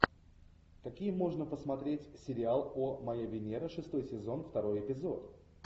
какие можно посмотреть сериал о моя венера шестой сезон второй эпизод